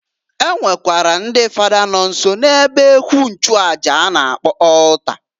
E nwekwara ndị Fada nọ nso na ebe ekwu nchuaja a na-akpọ altar.